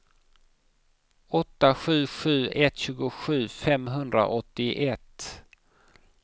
åtta sju sju ett tjugosju femhundraåttioett